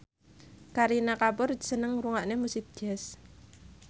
Kareena Kapoor seneng ngrungokne musik jazz